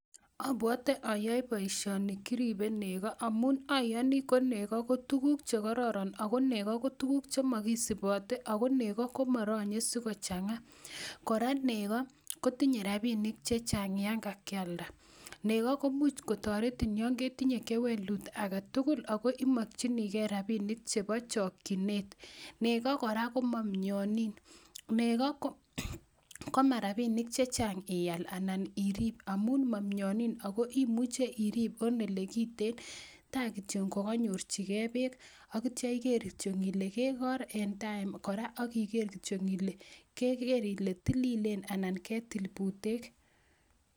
obwote oyoe boisioni kiribe nego amun ayoni ko nego ko tukuk chekororon ako nego ko tukuk chemokisibote ako nego komorony'e kochang'a, kora nego kotinye rabinik chechang yan kakialda, nego komuch kotoretin yon ketinye kewelut aketugul ako imokyinigen rabinik chebo chokyinet, nego kora komamy'onin, nego komarabinik chechang ial anan irib amun momy'onin ako imuche irib en elekiten takityo kokany'orjigen beek aki kityo iker ile kekor en time kora ak iker kole keker ile tililen ana ketil butek.